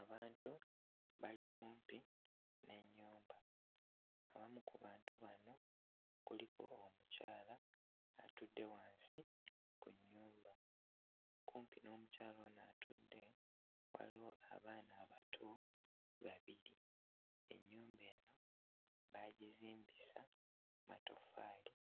Abantu bali kumpi n'ennyumba, omu ku bantu bano kuliko omukyala atudde wansi ku nnyumba, kumpi n'omukyala ono atudde waliwo abaana abato babiri, ennyumba eno baagizimbisa matoffaali